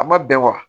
A ma bɛn wa